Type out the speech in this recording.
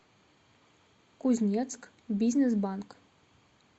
кузнецкбизнесбанк